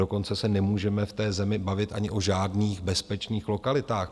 Dokonce se nemůžeme v té zemi bavit ani o žádných bezpečných lokalitách.